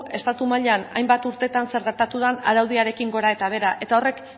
estatu mailan hainbat urteetan zer gertatu den araudiarekin gora eta behera eta horrek